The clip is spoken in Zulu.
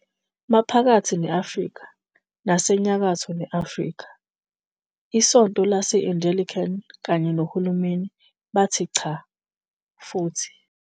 Maphakathi ne-Afrika nasenyakatho ne-Afrika, iSonto lase-Anglican kanye nohulumeni bathi 'cha' futhi